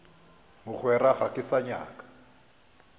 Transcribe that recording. mogwera ga ke sa nyaka